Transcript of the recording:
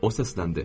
O səsləndi.